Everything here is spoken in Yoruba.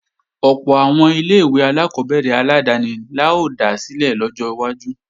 Ọ̀pọ̀ àwọn ilé-ìwé alákọ́bẹ̀rẹ̀ aládáni la ó dá sílẹ̀ lọ́jọ́ iwájú